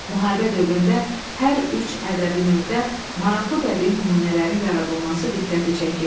Müharibə dövründə hər üç ədəbi növdə maraqlı bədii nümunələrin yaradılması diqqəti çəkir.